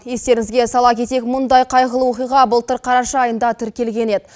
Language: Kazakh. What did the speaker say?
естеріңізге сала кетейік мұндай қайғылы оқиға былтыр қараша айында тіркелген еді